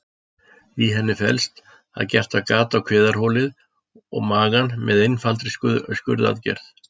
Í henni felst að gert er gat á kviðarholið og magann með einfaldri skurðaðgerð.